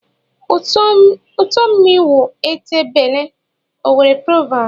Ụtọ mmịị wụ ete bele. (Owerri proverb)